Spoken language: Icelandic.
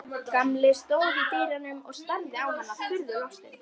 Gamli stóð í dyrunum og starði á hana furðu lostinn.